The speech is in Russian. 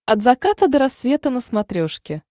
от заката до рассвета на смотрешке